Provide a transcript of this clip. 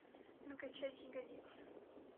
накачать ягодицы